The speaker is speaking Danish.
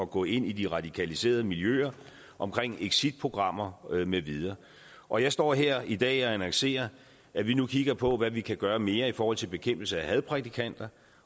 gå ind i de radikaliserede miljøer omkring exitprogrammer med videre og jeg står her i dag og annoncerer at vi nu kigger på hvad vi kan gøre mere i forhold til bekæmpelse af hadprædikanter